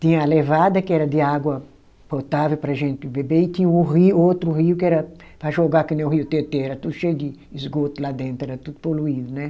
Tinha a levada, que era de água potável para a gente beber, e tinha o rio, o outro rio, que era para jogar que nem o rio Tietê, era tudo cheio de esgoto lá dentro, era tudo poluído, né?